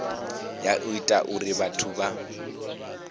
ya ita uri vhathu vha